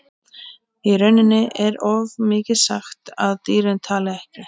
Í rauninni er of mikið sagt að dýrin tali ekki.